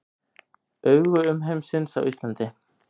Augu umheimsins á Íslandi